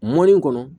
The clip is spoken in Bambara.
Mɔni kɔnɔ